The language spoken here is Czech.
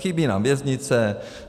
Chybí nám věznice.